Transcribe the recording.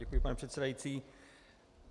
Děkuji, pane předsedající.